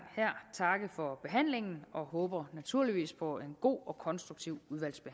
takke for behandlingen og håber naturligvis på en god og konstruktiv